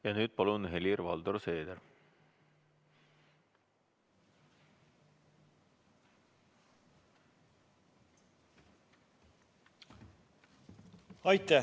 Ja nüüd, palun, Helir-Valdor Seeder!